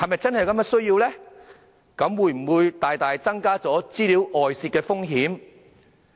這會否大大增加資料外泄的風險呢？